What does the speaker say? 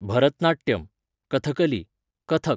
Bharatanatyam, Kathakali, Kathak.